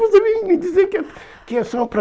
Você vem me dizer que é que é só para...